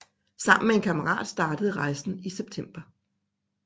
Sammen med en kammerat startede rejsen i september